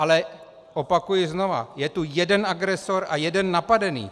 Ale opakuji znovu, je tu jeden agresor a jeden napadený.